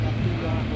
Təpi qoyaq.